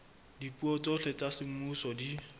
dipuo tsohle tsa semmuso di